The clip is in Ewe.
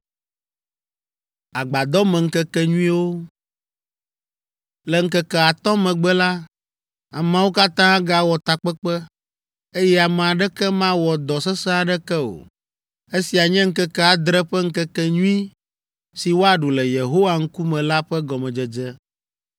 “Le ŋkeke atɔ̃ megbe la, ameawo katã agawɔ takpekpe, eye ame aɖeke mawɔ dɔ sesẽ aɖeke o. Esia nye ŋkeke adre ƒe ŋkekenyui si woaɖu le Yehowa ŋkume la ƒe gɔmedzedze.